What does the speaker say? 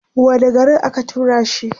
wani garin aka turashi